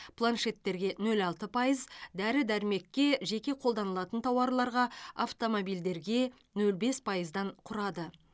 планшеттерге нөл алты пайыз дәрі дәрмекке жеке қолданылатын тауарларға автомобильдерге нөл бес пайыздан құрады